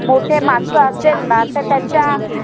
मोठे मानस असेल न त त्यांच्या